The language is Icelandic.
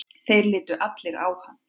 Þeir litu allir á hann.